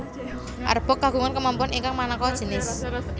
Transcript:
Arbok kagungan kemampuan ingkang maneka jinis